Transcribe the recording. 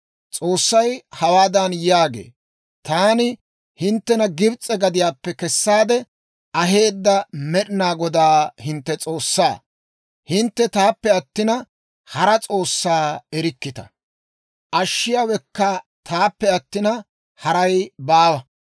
S'oossay hawaadan yaagee; «Taani hinttena Gibs'e gadiyaappe kessaade aheedda Med'inaa Godaa hintte S'oossaa. Hintte taappe attina, hara s'oossaa erikkita; ashshiyaawekka taappe attina, haray baawa.